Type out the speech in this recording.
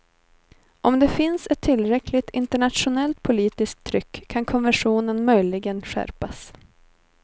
Om det finns ett tillräckligt internationellt politiskt tryck kan konventionen möjligen skärpas.